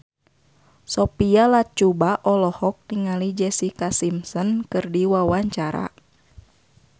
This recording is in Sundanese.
Sophia Latjuba olohok ningali Jessica Simpson keur diwawancara